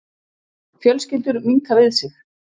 Fjölskyldur minnka við sig